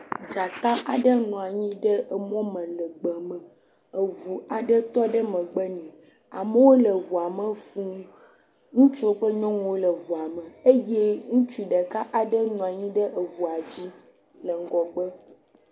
Dzata aɖe nɔ anyi le emɔ me le gbe me, eŋu aɖe tɔ ɖe megbe nɛ, amewo le ŋua me fũu, ŋutsuwo kple nyɔnuwo le eŋuame eye ŋutsu ɖeka aɖe nɔ anyi ɖe eŋua dzi le ŋgɔgbe.